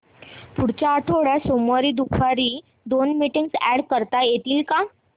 पुढच्या आठवड्यात सोमवारी दुपारी दोन मीटिंग्स अॅड करता येतील का